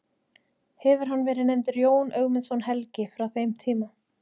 Hefur hann verið nefndur Jón Ögmundsson helgi frá þeim tíma.